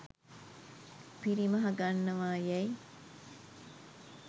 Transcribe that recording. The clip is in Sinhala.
පිරිමහ ගන්නවා යැයි